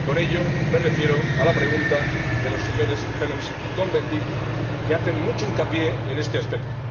Y con ello me refiero a la pregunta de la señora Harms y el señor Cohn Bendit, que hacen mucho hincapié en este aspecto.